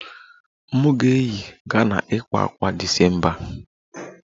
M ga-eyi Ghana ịkpa ákwà a December